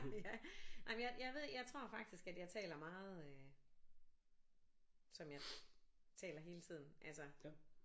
Ja nej men jeg jeg ved jeg tror faktisk at jeg taler meget øh som jeg taler hele tiden altså